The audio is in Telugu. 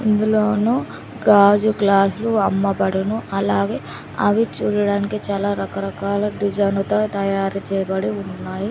ఇందులోనూ గాజు గ్లాస్ లు అమ్మబడును అలాగే అవి చూడడానికి చాలా రకరకాల డిజైన్ లతో తయారు చేయబడి ఉన్నాయి.